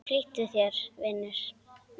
Flýttu þér, vinur.